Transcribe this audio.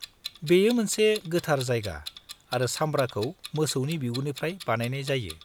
-बेयो मोनसे गोथार जायगा आरो सामब्राखौ मोसौनि बिगुरनिफ्राय बानायनाय जायो।